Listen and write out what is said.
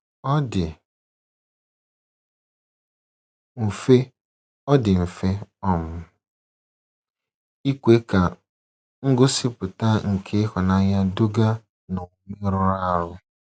Ọ dị mfe Ọ dị mfe um ikwe ka ngosịpụta nke ịhụnanya duga n’omume rụrụ arụ.